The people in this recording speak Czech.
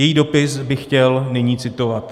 Její dopis bych chtěl nyní citovat: